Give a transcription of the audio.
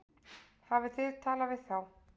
Hafið þið talað við þá?